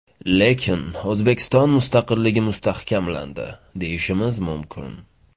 Lekin O‘zbekiston mustaqilligi mustahkamlandi, deyishim mumkin.